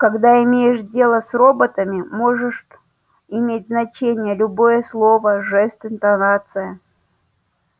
когда имеешь дело с роботами можешь иметь значение любое слово жест интонация